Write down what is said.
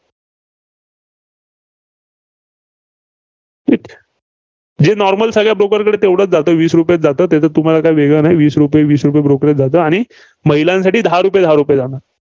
जे normal सगळ्या broker कडे तेवढंच जातं. वीस रुपयेच जातं. त्याचं तुम्हाला काही वेगळं नाही. वीस रुपये, वीस रुपये brokerage जात, आणि महिलांसाठी दहा रुपये दहा रुपये जाणार.